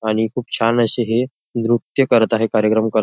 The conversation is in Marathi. आणि खूप छान अशे हे नृत्य करत आहे कार्यक्रम करत--